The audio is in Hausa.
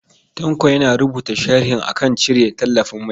Tanko yana rubuta sharhi a kan cire tallafin mai.